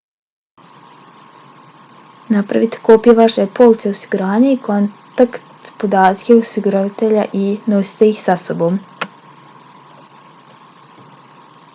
napravite kopije vaše police osiguranja i kontakt podatke osiguravatelja i nosite ih sa sobom